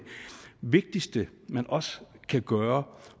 vigtigste man også kan gøre